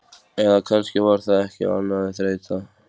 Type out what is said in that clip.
Eða kannski var það ekki annað en þreyta.